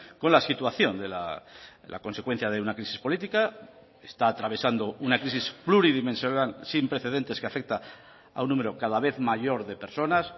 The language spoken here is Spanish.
con la situación la consecuencia de una crisis política está atravesando una crisis pluridimensional sin precedentes que afecta a un número cada vez mayor de personas